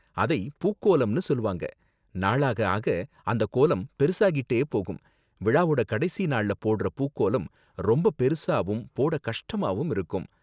அதை பூக்கோலம்னு சொல்லுவாங்க, நாளாக ஆக அந்த கோலம் பெருசாக்கிட்டே போகும், விழாவோட கடைசி நாள்ல போடுற பூக்கோலம் ரொம்ப பெருசாவும் போட கஷ்டமாவும் இருக்கும்.